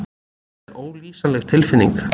Þetta var ólýsanleg tilfinning.